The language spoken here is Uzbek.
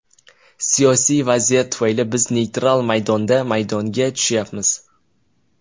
Siyosiy vaziyat tufayli biz neytral maydonda maydonga tushyapmiz.